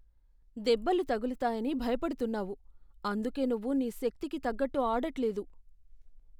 దెబ్బలు తగులుతాయని భయపడుతున్నావు, అందుకే నువ్వు నీ శక్తికి తగ్గట్టు ఆడట్లేదు.